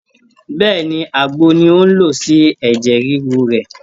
Bẹ́ẹ̀ni, Àgbo ni ó ń lò sí ẹ̀jẹ̀ ríru rẹ̀